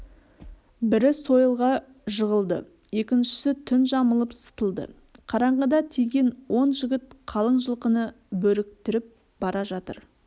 бірі сойылға жығылды екіншісі түн жамылып сытылды қараңғыда тиген он жігіт қалың жылқыны бөріктіріп бара жатыр